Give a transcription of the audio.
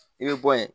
I bɛ bɔ yen